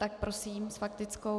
Tak prosím, s faktickou.